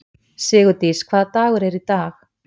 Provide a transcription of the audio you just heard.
Sigurdís, hvaða dagur er í dag?